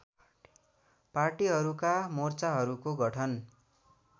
पार्टीहरूका मोर्चाहरूको गठन